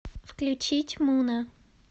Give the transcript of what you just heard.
включить муна